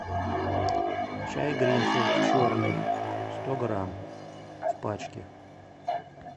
чай гринфилд черный сто грамм в пачке